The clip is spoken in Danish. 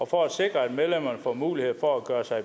for at sikre at medlemmerne får mulighed for at gøre sig